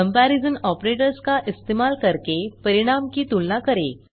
comparison operators का इस्तेमाल करके परिणाम की तुलना करें